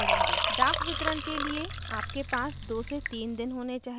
डाकवितरण के लिए आपके पास 23 दिन होने चाहिए